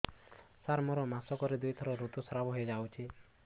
ସାର ମୋର ମାସକରେ ଦୁଇଥର ଋତୁସ୍ରାବ ହୋଇଯାଉଛି